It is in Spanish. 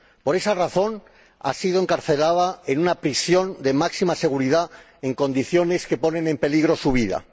Por esa razón, ha sido encarcelada en una prisión de máxima seguridad, en condiciones que ponen en peligro su vida.